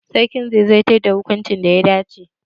Sarki zai zartar da hukuncin da ya dace